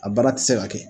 A baara tɛ se ka kɛ